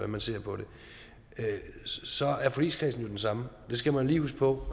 man ser på det så er forligskredsen den samme det skal man lige huske på